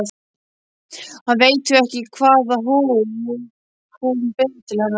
Hann veit því ekki hvaða hug hún ber til hennar.